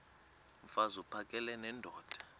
mfaz uphakele nendoda